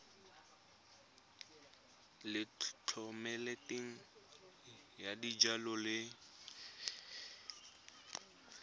ya thomeloteng ya dijalo le